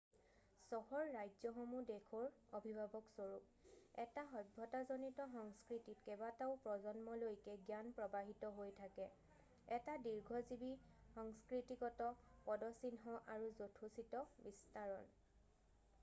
চহৰ-ৰাজ্যসমূহ দেশৰ অভিভাৱকস্বৰূপ এটা সভ্যতাজনিত সংস্কৃতিত কেইবাটাও প্ৰজন্মলৈকে জ্ঞান প্ৰৱাহিত হৈ থাকে এটা দীৰ্ঘজীৱি সংস্কৃতিগত পদচিহ্ন আৰু যথোচিত বিস্তাৰণ